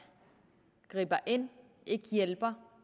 griber ind ikke hjælper